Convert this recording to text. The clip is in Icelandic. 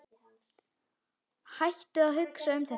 Hættu að hugsa um þetta.